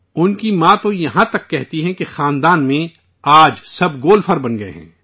ان کی ماں تو یہاں تک کہتی ہیں کہ فیملی میں آج سب گولفر بن گئے ہیں